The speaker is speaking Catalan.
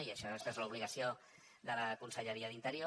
i aquesta és l’obligació de la conselleria d’interior